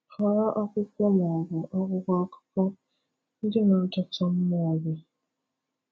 Họrọ akwụkwọ ma ọ bụ akwụkwọ akụkọ, ndị na-adọta mmụọ gị.